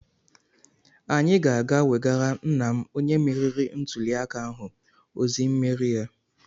Anyị ga-aga wegara nna m onye meriri ntuliaka ahụ ozi mmeri ya.